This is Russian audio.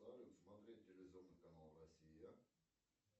салют смотреть телевизионный канал россия